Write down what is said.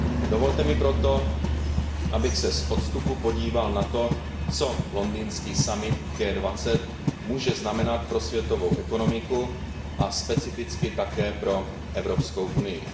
Dovolte mi proto, abych se z odstupu podíval na to, co londýnský summit G20 může znamenat pro světovou ekonomiku a specificky také pro Evropskou unii.